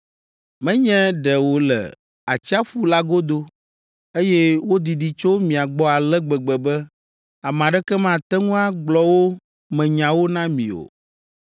Menye ɖe wole atsiaƒu la godo, eye wodidi tso mia gbɔ ale gbegbe be ame aɖeke mate ŋu agblɔ wo me nyawo na mi o.